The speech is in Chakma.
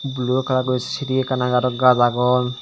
blue colour guri shiri ekkan aage aaro gaj agon.